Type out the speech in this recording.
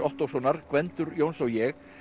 Ottóssonar Gvendur Jóns og ég